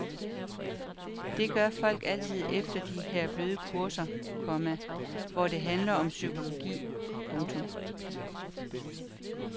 Det gør folk altid efter de her bløde kurser, komma hvor det handler om psykologi. punktum